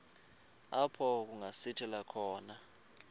apho kungasithela khona